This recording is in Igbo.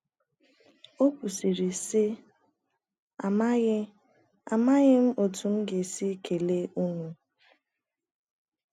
O kwuru, sị; “ Amaghị Amaghị m otú m ga - esi kelee ụnụ.